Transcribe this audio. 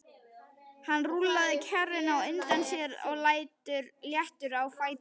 Hann rúllaði kerrunni á undan sér léttur á fæti.